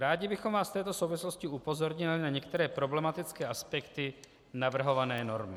Rádi bychom vás v této souvislosti upozornili na některé problematické aspekty navrhované normy.